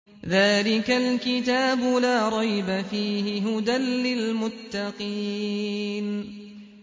ذَٰلِكَ الْكِتَابُ لَا رَيْبَ ۛ فِيهِ ۛ هُدًى لِّلْمُتَّقِينَ